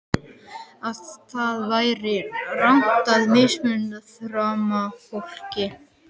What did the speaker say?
Að það væri rangt að misþyrma fólki.